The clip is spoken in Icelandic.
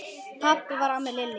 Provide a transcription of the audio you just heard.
Þannig var amma Lillý.